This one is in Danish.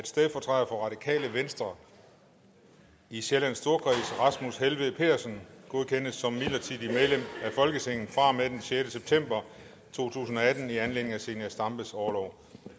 stedfortræder for radikale venstre i sjællands storkreds rasmus helveg petersen godkendes som midlertidigt medlem af folketinget fra og med den sjette september to tusind og atten i anledning af zenia stampes orlov